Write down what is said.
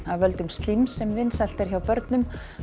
af völdum slíms sem vinsælt er hjá börnum